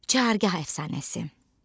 Çahargah əfsanəsi.